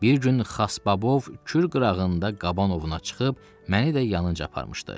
Bir gün Xasbabov Kür qırağında qaban ovuna çıxıb məni də yanınca aparmışdı.